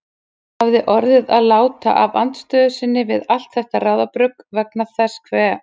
Hún hafði orðið að láta af andstöðu sinni við allt þetta ráðabrugg vegna þess hve